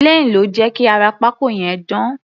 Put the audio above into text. Plane ló jẹ́ kí ara pákó yẹn dán.